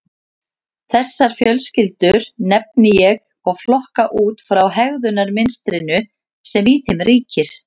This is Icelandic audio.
Þessar fjölskyldur nefni ég og flokka út frá hegðunarmynstrinu sem í þeim ríkir.